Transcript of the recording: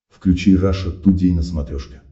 включи раша тудей на смотрешке